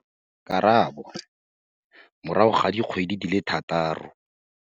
Karabo - Morago ga dikgwedi di le thataro.